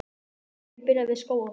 Leiðin byrjar við Skógafoss.